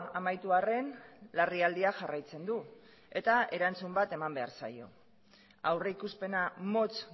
amaitu arren larrialdiak jarraitzen du eta erantzun bat eman behar zaio aurrikuspena motz